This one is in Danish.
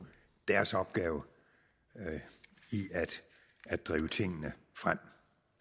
deres opgave i at drive tingene frem